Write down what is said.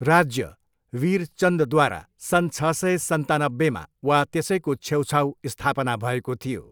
राज्य वीर चन्दद्वारा सन् छ सय, सन्तानब्बेमा वा त्यसैको छेउछाऊ स्थापना भएको थियो।